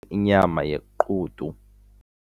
inyama yequdu.